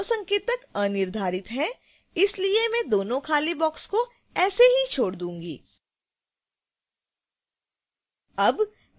इसके लिए दोनों संकेतक अनिर्धारित हैं इसलिए मैं दोनो खाली boxes को ऐसे ही छोड दूंगी